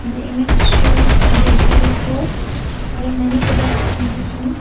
the image shows are grocery store there many products can be seen.